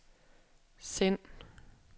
send